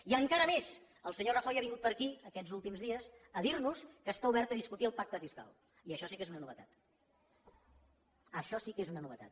i encara més el senyor rajoy ha vingut per aquí aquests últims dies a dir nos que està obert a discutir el pacte fiscal i això sí que és una novetat això sí que és una novetat